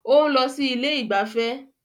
Ó ń lọ sí ilé ìgbafẹ́